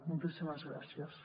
moltíssimes gràcies